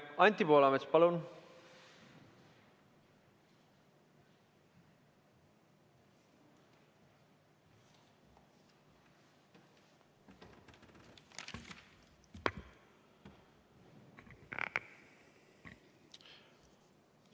Anti Poolamets, palun!